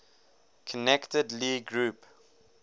connected lie group